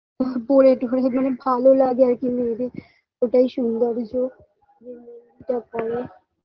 পরে একটু খানি খানি ভালো লাগে আর কি মেহেন্দি ওটাই সৌন্দর্য যা বলে